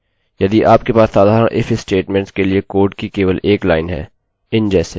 यदि यहाँ लाइन के बाद लाइन होगी तो आपको कर्ली कोष्ठकों की आवश्यकता होगी